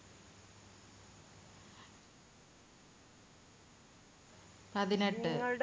പതിനെട്ട്